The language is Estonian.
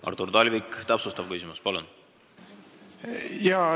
Artur Talvik, täpsustav küsimus, palun!